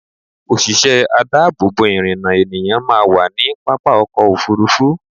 Òṣìṣẹ́ adáàbò bò ìrìnnà ènìyàn máa wà ní pápá ọkọ̀ Òfurufú.